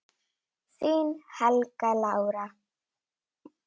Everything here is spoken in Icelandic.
Þín, Helga Lára.